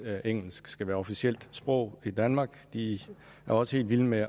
at engelsk skal være officielt sprog i danmark de er også helt vilde med